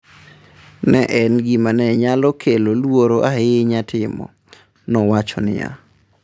“Ne en gima ne nyalo kelo luoro ahinya timo”, nowacho niya.